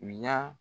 U y'a